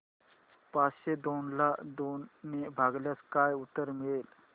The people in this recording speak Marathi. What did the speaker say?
पाचशे दोन ला दोन ने भागल्यास काय उत्तर मिळेल